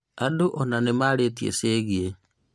Andũ ona nĩamarĩtie ciĩgie